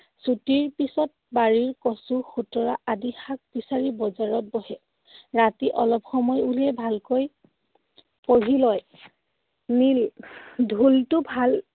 ছুটিৰ পিছত বাৰীৰ কচু, খুতৰা আদি শাক বিচাৰি বজাৰত বহে। ৰাতি অলপ সময় উলিয়াই ভালকৈ পঢ়ি লয়। নীল, ঢোলটো ভাল